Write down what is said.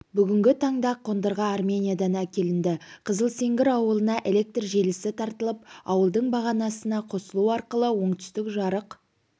бүгінгі таңда қондырғы армениядан әкелінді қызылсеңгір ауылына электр желісі тартылып ауылдың бағанасына қосылу арқылы оңтүстік жарық